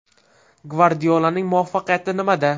Gvardiolaning muvaffaqiyati nimada?